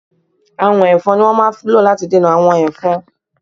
Àwọ̀n Ẹ̀fọn ni wón máa ń lò láti dènà àwọn Ẹ̀fọn.